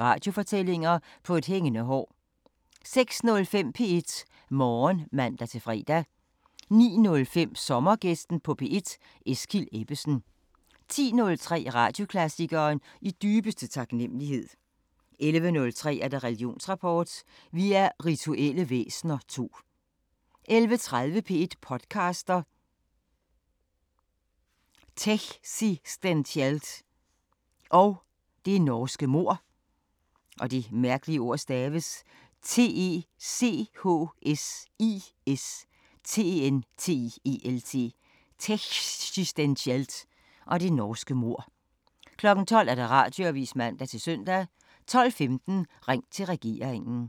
Radiofortællinger: På et hængende hår * 06:05: P1 Morgen (man-fre) 09:05: Sommergæsten på P1: Eskild Ebbesen 10:03: Radioklassikeren: I dybeste taknemmelighed 11:03: Religionsrapport: Vi er rituelle væsener II 11:30: P1 podcaster – Techsistentielt og det norske mord 12:00: Radioavisen (man-søn) 12:15: Ring til regeringen